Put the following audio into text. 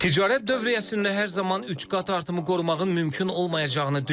Ticarət dövriyyəsində hər zaman üç qat artımı qorumağın mümkün olmayacağını düşünürəm.